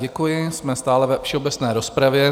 Děkuji, jsme stále ve všeobecné rozpravě.